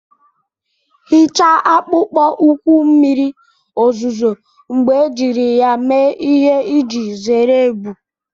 Hichaa akpụkpọ ụkwụ mmiri ozuzo mgbe ejiri ya mee ihe iji zere ebu.